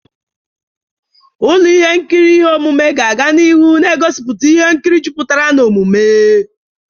Ụlọ ihe nkiri ihe omume ga-aga n'ihu na-egosipụta ihe nkiri jupụtara n'omume.